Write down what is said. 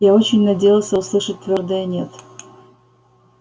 я очень надеялся услышать твёрдое нет